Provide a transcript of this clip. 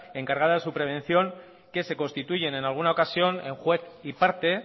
encargadas en su prevención que se constituyen en alguna ocasión en juez y parte